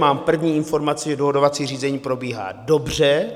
Mám první informaci, že dohodovací řízení probíhá dobře.